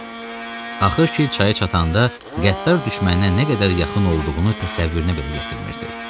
Axır ki, çaya çatanda qəddar düşməninə nə qədər yaxın olduğunu təsəvvürünə belə gətirmirdi.